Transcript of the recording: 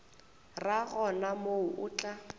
ra gona moo o tla